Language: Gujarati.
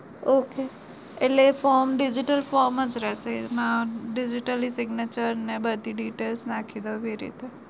Okay એટલે એ from digital from રેછે એમાં બધી digital